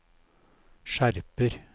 skjerper